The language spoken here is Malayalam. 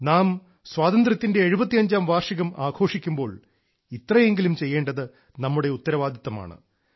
നാം സ്വാതന്ത്ര്യത്തിന്റെ എഴുപത്തിയഞ്ചാം വാർഷികം ആഘോഷിക്കുമ്പോൾ ഇത്രയെങ്കിലും ചെയ്യേണ്ടത് നമ്മുടെ ഉത്തരവാദിത്വമാണ്